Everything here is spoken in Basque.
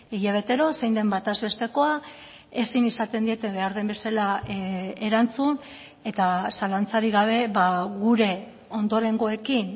hilabetero zein den bataz bestekoa ezin izaten diete behar den bezala erantzun eta zalantzarik gabe gure ondorengoekin